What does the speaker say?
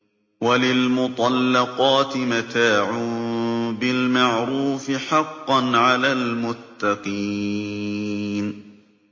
وَلِلْمُطَلَّقَاتِ مَتَاعٌ بِالْمَعْرُوفِ ۖ حَقًّا عَلَى الْمُتَّقِينَ